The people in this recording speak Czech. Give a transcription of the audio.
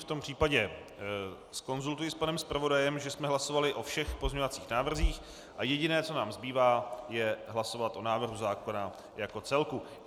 V tom případě zkonstatuji s panem zpravodajem, že jsme hlasovali o všech pozměňovacích návrzích a jediné, co nám zbývá, je hlasovat o návrhu zákona jako celku.